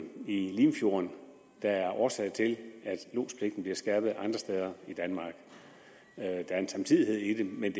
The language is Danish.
i limfjorden der er årsag til at lodspligten bliver skærpet andre steder i danmark der er en samtidighed i det men